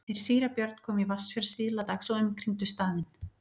Þeir síra Björn komu í Vatnsfjörð síðla dags og umkringdu staðinn.